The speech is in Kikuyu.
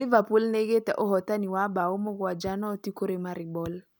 Liverpool nĩgĩte ũbotani ya mbao mũgwaja noti kũri NK Maribor